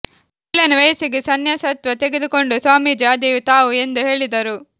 ಏಳನೇ ವಯಸ್ಸಿಗೆ ಸನ್ಯಾಸತ್ವ ತೆಗೆದುಕೊಂಡು ಸ್ವಾಮೀಜಿ ಆದೆವು ತಾವು ಎಂದು ಹೇಳಿದರು